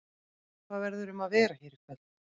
Hvað verður um að vera hér í kvöld?